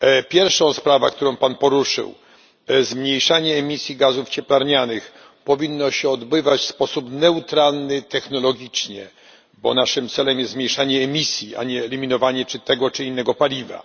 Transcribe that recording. Pierwsza sprawa, którą Pan poruszył zmniejszanie emisji gazów cieplarnianych powinno się odbywać w sposób neutralny technologicznie, bo naszym celem jest zmniejszanie emisji, a nie eliminowanie tego czy innego paliwa.